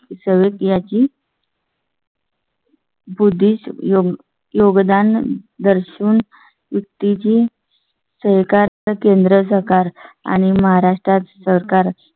सध्या ची . बुद्धीचा योगदान दर्शन मुक्तीची. सेकर केंद्र सरकार आणि महाराष्ट्रात सरकार